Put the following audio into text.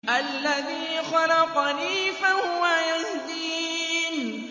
الَّذِي خَلَقَنِي فَهُوَ يَهْدِينِ